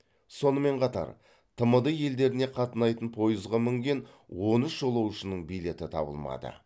сонымен қатар тмд елдеріне қатынайтын пойызға мінген он үш жолаушының билеті табылмады